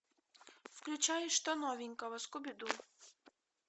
включай что новенького скуби ду